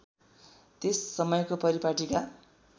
त्यस समयको परिपाटीका